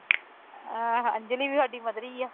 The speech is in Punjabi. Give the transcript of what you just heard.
ਹਾਂ ਅੰਜਲੀ ਵੀ ਸਾਡੀ ਮਧਰੀ ਹੈ।